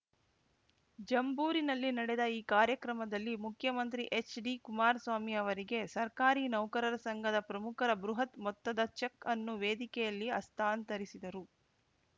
ಜಂಬೂರಿನಲ್ಲಿ ನಡೆದ ಈ ಕಾರ್ಯಕ್ರಮದಲ್ಲಿ ಮುಖ್ಯಮಂತ್ರಿ ಎಚ್‌ಡಿ ಕುಮಾರಸ್ವಾಮಿ ಅವರಿಗೆ ಸರ್ಕಾರಿ ನೌಕರರ ಸಂಘದ ಪ್ರಮುಖರು ಬೃಹತ್‌ ಮೊತ್ತದ ಚೆಕ್‌ ಅನ್ನು ವೇದಿಕೆಯಲ್ಲಿ ಹಸ್ತಾಂತರಿಸಿದರು